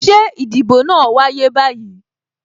Ṣé ìdìbò náà wáyé báyìí?